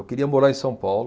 Eu queria morar em São Paulo.